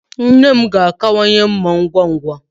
Nne m ga-akawanye mma ngwa ngwa